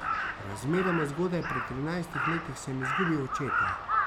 Razmeroma zgodaj, pri trinajstih letih, sem izgubil očeta.